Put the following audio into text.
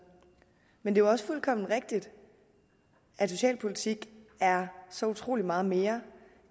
men jo også fuldkommen rigtigt at socialpolitik er så utrolig meget mere